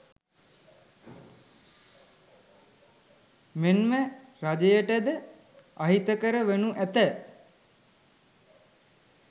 මෙන්ම රජයට ද අහිතකර වනු ඇත.